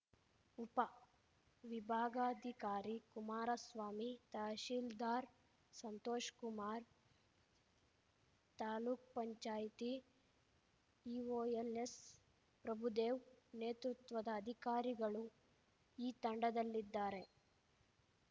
ಉಪ ವಿಭಾಗಾಧಿಕಾರಿ ಕುಮಾರಸ್ವಾಮಿ ತಹಶೀಲ್ದಾರ್‌ ಸಂತೋಷ್ ಕುಮಾರ್ ತಾಲೂಕ್ ಪಂಚಾಯತಿ ಇಓ ಎಲ್‌ಎಸ್‌ಪ್ರಭುದೇವ್‌ ನೇತೃತ್ವದ ಅಧಿಕಾರಿಗಳು ಈ ತಂಡದಲ್ಲಿದ್ದಾರೆ